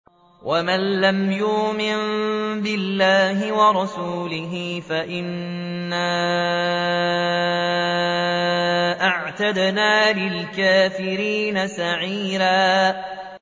وَمَن لَّمْ يُؤْمِن بِاللَّهِ وَرَسُولِهِ فَإِنَّا أَعْتَدْنَا لِلْكَافِرِينَ سَعِيرًا